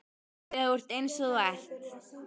Þegar þú ert eins og þú ert.